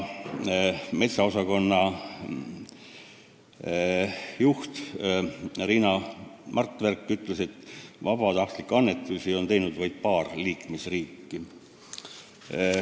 Metsaosakonna juhataja Riina Martverk ütles, et vabatahtlikke annetusi on teinud vaid paar liikmesriiki.